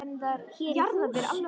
Hér í hús